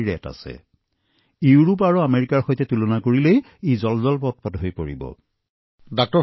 যদি আপুনি ইউৰোপৰ সৈতে তুলনা কৰে আমেৰিকাই একেই চিকিৎসা প্ৰটকলৰ দ্বাৰা ৰোগীসকলক চিকিৎসা কৰি আছে